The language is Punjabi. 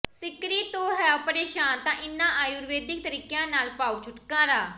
ਸਿੱਕਰੀ ਤੋਂ ਹੋ ਪਰੇਸ਼ਾਨ ਤਾਂ ਇਨ੍ਹਾਂ ਆਯੁਰਵੇਦਿਕ ਤਰੀਕਿਆਂ ਨਾਲ ਪਾਓ ਛੁਟਕਾਰਾ